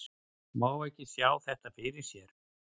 Má ekki sjá þetta fyrir sér?